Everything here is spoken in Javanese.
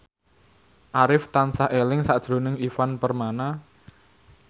Arif tansah eling sakjroning Ivan Permana